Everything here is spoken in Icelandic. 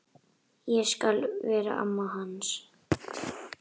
Ég skal vera amma hans.